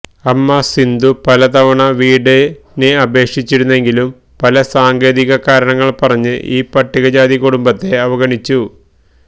അമ്മ സിന്ധു പല തവണ വീടിന് അപേക്ഷിച്ചിരുന്നെങ്കിലും പല സാങ്കേതിക കാരണങ്ങള് പറഞ്ഞ് ഈ പട്ടികജാതി കുടുംബത്തെ അവഗണിച്ചു